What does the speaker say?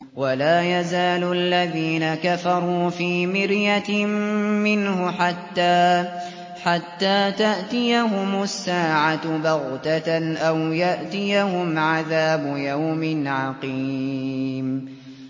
وَلَا يَزَالُ الَّذِينَ كَفَرُوا فِي مِرْيَةٍ مِّنْهُ حَتَّىٰ تَأْتِيَهُمُ السَّاعَةُ بَغْتَةً أَوْ يَأْتِيَهُمْ عَذَابُ يَوْمٍ عَقِيمٍ